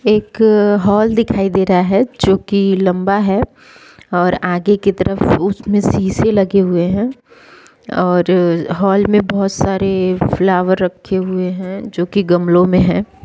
एक हाल दिखाई दे रहा हैं जो की लंबा हैं और आगे की तरफ उसमें शीशे लगे हुए हैं और हाल में बहुत सारे फ्लावर रखे हुए हैं जो कि गमलो में हैं ।